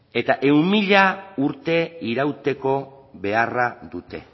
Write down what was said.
eta ehun mila urte irauteko beharra dute